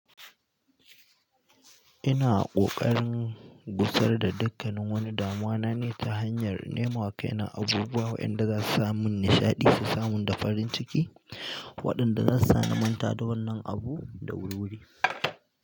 Ina ƙoƙarin gusar da dakkanin wani damuwa na ne ta hanyar nemo wa kaina abubuwa wayanda zasu samun nishaɗi su samun da farin ciki, waɗanda zasu sa na manta da wannan abu da wuri-wuri.